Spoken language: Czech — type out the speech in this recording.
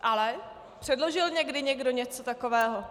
Ale předložil někdo někdy něco takového?